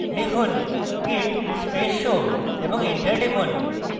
লিখুন: git space show এবং enter টিপুন